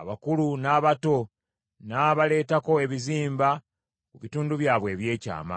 Abakulu n’abato n’abaleetako ebizimba ku bitundu byabwe eby’ekyama.